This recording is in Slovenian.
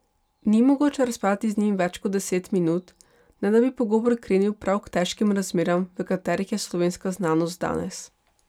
Ni mogoče razpravljati z njim več kot deset minut, ne da bi pogovor krenil prav k težkim razmeram, v katerih je slovenska znanost danes.